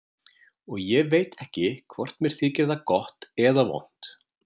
Og ég veit ekki hvort mér þykir það gott eða vont.